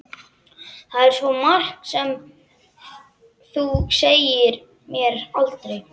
Það er svo margt sem þú sagðir mér aldrei.